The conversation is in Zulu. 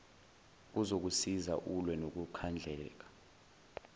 kuzokusiza ulwe nokukhandleka